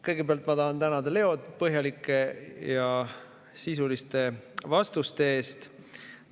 Kõigepealt ma tahan tänada Leod põhjalike ja sisuliste vastuste eest.